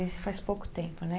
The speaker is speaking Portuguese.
E faz pouco tempo, né?